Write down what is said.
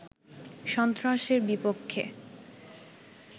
সন্ত্রাসের বিপক্ষে